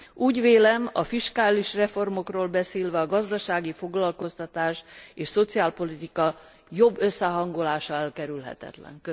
Úgy vélem, a fiskális reformokról beszélve a gazdasági foglalkoztatás és szociálpolitika jobb összehangolása elkerülhetetlen.